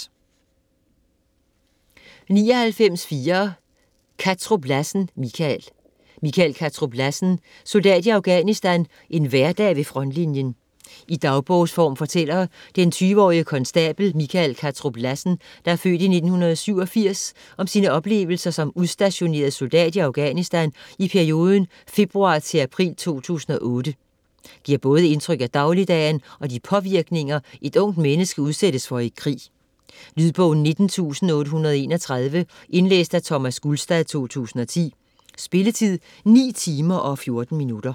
99.4 Kattrup Lassen, Michael Kattrup Lassen, Michael: Soldat i Afghanistan: en hverdag ved frontlinjen I dagbogsform fortæller den 20-årige konstabel Michael Kattrup Lassen (f. 1987) om sine oplevelser som udstationeret soldat i Afghanistan i perioden februar-april 2008. Giver både indtryk af dagligdagen og de påvirkninger, et ungt menneske udsættes for i krig. Lydbog 19831 Indlæst af Thomas Gulstad, 2010. Spilletid: 9 timer, 14 minutter.